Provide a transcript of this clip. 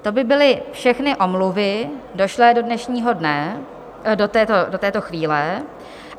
To by byly všechny omluvy došlé do dnešního dne, do této chvíle.